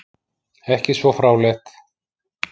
Ekki svo fráleitt!